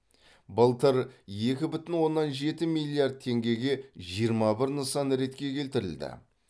былтыр екі бүтін оннан жеті миллиард теңгеге жиырма бір нысан ретке келтірілді